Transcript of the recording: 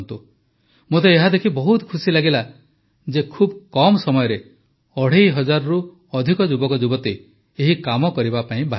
ମୋତେ ଏହା ଦେଖି ବହୁତ ଖୁସି ଲାଗିଲା ଯେ ବହୁତ କମ୍ ସମୟରେ ଅଢ଼େଇ ହଜାରରୁ ଅଧିକ ଯୁବକ ଯୁବତୀ ଏହି କାମ କରିବା ପାଇଁ ବାହାରିଛନ୍ତି